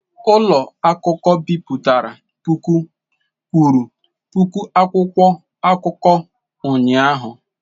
Ụlọ akụkọ bipụtara puku kwuru puku akwụkwọ akụkọ ụnyahụ.